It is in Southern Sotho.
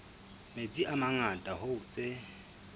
metsi a mangata hoo tse